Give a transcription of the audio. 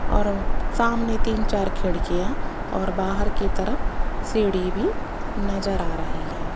और सामने तीन चार खिड़कियां और बाहर की तरफ सीढ़ी भी नजर आ रही हैं।